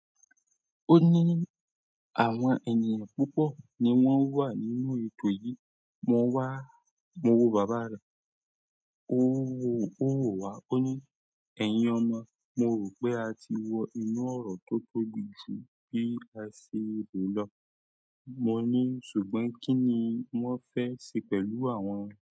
Ó ní, àwọn ènìyàn púpọ̀ ni wọ́n wà nínú ètò yìí. Mo wá, mo wo bàbá rẹ̀, ó wọ̀ wá, ó ní, ẹ̀yin ọmọ, mo rò pé a ti wọ inú ọ̀rọ̀ tó tóbi jù bí a ṣe rò lọ. Mo ní, ṣùgbọ́n kí ni wọ́n fẹ́ ṣe pẹ̀lú àwọn.